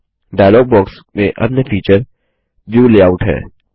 dialogue box में अन्य feature view layout है